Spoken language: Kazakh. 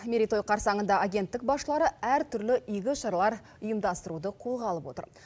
мерейтой қарсаңында агенттік басшылары әртүрлі игі шаралар ұйымдастыруды қолға алып отыр